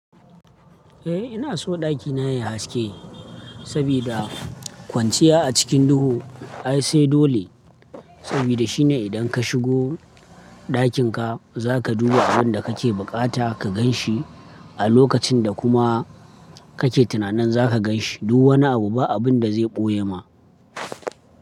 Eh ina so ɗakina yayi haske sabida kwanciya a cikin duhu ai sai dole, sabida shine idan ka shigo ɗakin ka za ka duba abin da kake buƙata ka gan shi a lokacin da kuma kake tunanin za ka gan shi. Duk wani abu ba abun da zai ɓoye ma.